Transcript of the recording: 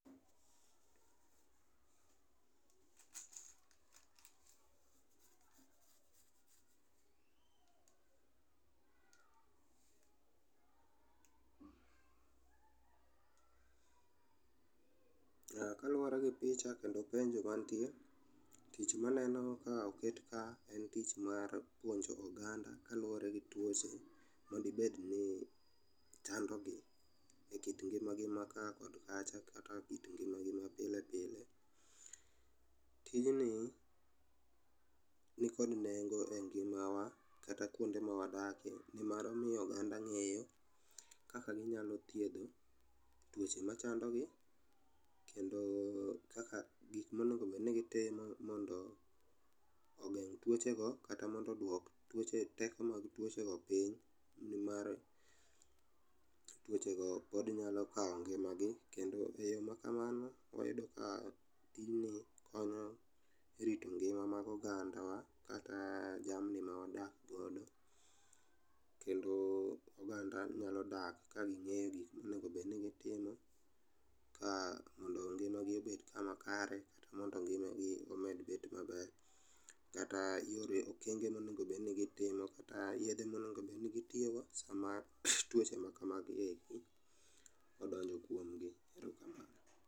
Ah, kaluwore gi picha kendo penjo mantie, tich maneno ka oket ka en tich mar puonjo oganda kaluwore gi tuoche madibedni chandogi. E kit ngima gi ma ka kod kacha, kata kit ngima gi mapile pile. Tijni nikod nengo e ngima wa kata kuonde mawadake nimar miyo oganda ng'eyo kaka ginyalo thiedho tuoche machandogi. Kendo kaka gikmonego bedni gitimo mondo ogeng' tuoche go kata mondo odwok teko mag tuoche go piny. Nimar tuochego pod nyalo kawo ngima gi, kendo e yo ma kamano, wayudo ka tijni konyo rito ngima mag ogandawa kata jamni mawadakgodo. Kendo oganda nyalo dak kaging'e gik monegobedni gitimo. Ka mondo ngima gi obed kama kare, kata mondo ngima gi omed bet maber. Kata yore okenge monegobedni gitimo kata yedhe monegobedni gitiyogo sama tuoche makamagieki odonjo kuom gi. Erokamano.